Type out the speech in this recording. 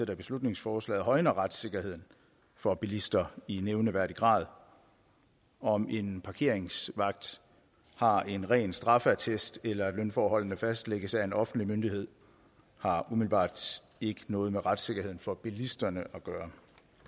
beslutningsforslaget højner retssikkerheden for bilister i nævneværdig grad om en parkeringsvagt har en ren straffeattest eller om lønforholdene fastlægges af en offentlig myndighed har umiddelbart ikke noget med retssikkerheden for bilisterne at gøre